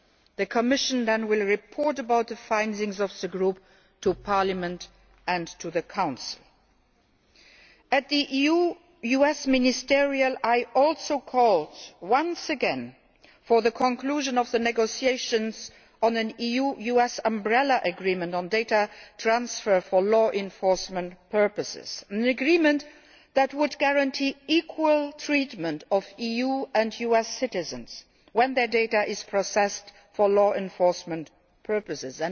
The Commission will then report on the findings of the group to Parliament and to the Council. At the EU US Ministerial Meeting, I also called once again for the conclusion of the negotiations on an EU US Umbrella Agreement on data transfer for law enforcement purposes an agreement that would guarantee equal treatment of EU and US citizens when their data is processed for law enforcement purposes.